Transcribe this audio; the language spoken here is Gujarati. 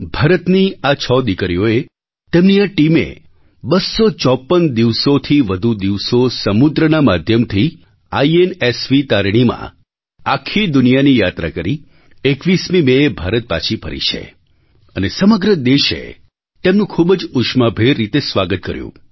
ભારતની આ છ દીકરીઓએ તેમની આ ટીમે બસ્સો ચોપન દિવસોથી વધુ દિવસો સમુદ્રના માધ્યમથી આઇએનએસવી તારિણીમાં આખી દુનિયાની યાત્રા કરી 21 મેએ ભારત પાછી ફરી છે અને સમગ્ર દેશે તેમનું ખૂબ જ ઉષ્માભેર રીતે સ્વાગત કર્યું